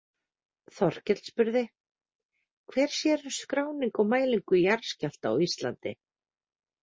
Þorkell spurði: Hver sér um skráningu og mælingu jarðskjálfta á Íslandi?